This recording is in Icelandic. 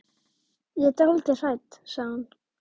Hann varð fyrsti ábóti klaustursins og frábær andlegur leiðtogi.